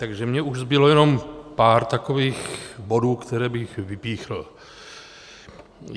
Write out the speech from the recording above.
Takže mně už zbylo jenom pár takových bodů, které bych vypíchl.